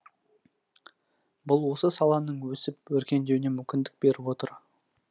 бұл осы саланың өсіп өркендеуіне мүмкіндік беріп отыр